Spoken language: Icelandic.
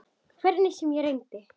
Hvernig sem ég reyni.